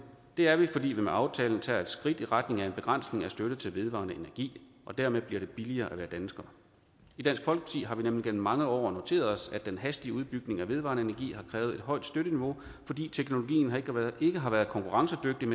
det er vi fordi vi med aftalen tager et skridt i retning af en begrænsning af støtte til vedvarende energi og dermed bliver det billigere at være dansker i dansk folkeparti har vi nemlig gennem mange år noteret os at den hastige udbygning af vedvarende energi har krævet et højt støtteniveau fordi teknologien ikke har været konkurrencedygtig i